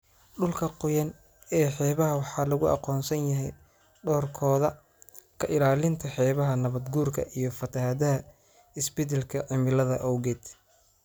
Dhulka qoyan ee xeebaha waxaa lagu aqoonsan yahay doorkooda ka ilaalinta xeebaha nabaad guurka iyo fatahaadaha isbedelka cimilada awgeed.